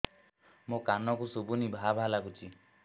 ମୋ କାନକୁ ଶୁଭୁନି ଭା ଭା ଲାଗୁଚି